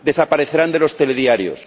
Desaparecerán de los telediarios.